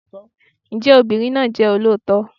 Ǹjẹ́ obìnrin náà jẹ́ olóòótọ́?